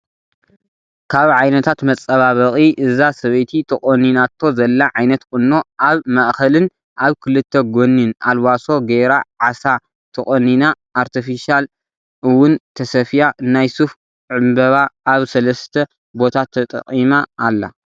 ካብ ዓይነታት መፃባበቂ እዛ ሰበይቲ ተቆኒናቶ ዘላ ዓይነት ቁና ኣብ ማእከልን ኣብ ክልተ ጎኒን ኣልባሶ ገይራ ዓሳ ተቆኒ ኣርቴፊሻ እውን ተሰፊያ ናይ ሱፍ ዕበባ ኣብ ሰለስተ ቦታ ተጠቅማ ኣላ።